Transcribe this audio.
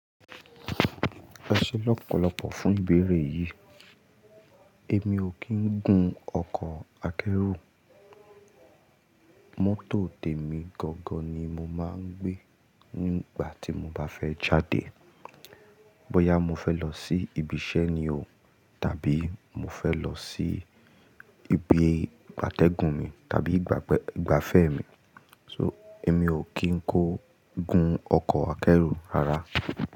Ẹ ṣé lọ́pọ̀lọpọ̀ fún ìbéèrè yìí. Èmi ò kì ń gun ọkọ̀ akẹ́rù. Mọ́tò tèmi gangan ni mo máa ń gbé nígbà tí mo bá fẹ́ jáde. Bọ́yá mo fẹ́ lọ sí ibiṣẹ́ ni o tàbí mo fẹ́ lọ sí ibi gbàtẹ́gùn mi tàbí ìgbafẹ́ mi. So èmi ò kí ń kó gun ọkọ̀ akẹ́rù rárá.